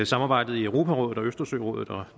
samarbejdet i europarådet og østersørådet og